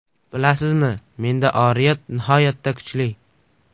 Bilasizmi, menda oriyat nihoyatda kuchli.